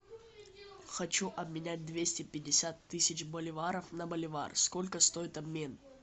хочу обменять двести пятьдесят тысяч боливаров на боливар сколько стоит обмен